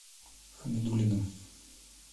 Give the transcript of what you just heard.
хамидуллиным